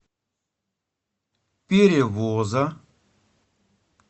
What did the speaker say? перевоза